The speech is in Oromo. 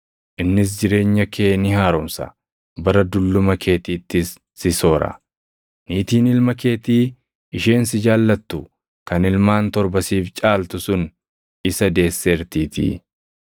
Innis jireenya kee ni haaromsa; bara dulluma keetiittis si soora. Niitiin ilma keetii isheen si jaallattu kan ilmaan torba siif caaltu sun isa deesseertiitii.”